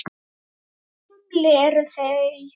Talið frá þumli eru þau